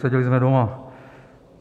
Seděli jsme doma.